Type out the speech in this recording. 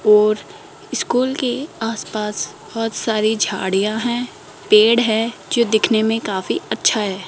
और स्कूल के आस पास बहोत सारी झाड़ियां हैं पेड़ है जो दिखने में काफी अच्छा है।